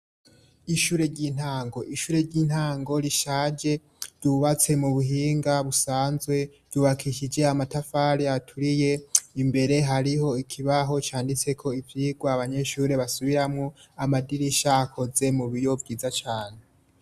ishure ry'intango ishure ry'intango rishaje ryubatse mu buhinga busanzwe ryubakishije amatafare aturiye imbere hariho ikibaho candise ko ivyirwa abanyeshure basubiramo amadirisha akoze mubiyo vyiza cane